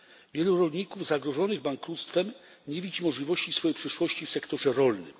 Wielu rolników zagrożonych bankructwem nie widzi możliwości swojej przyszłości w sektorze rolnym.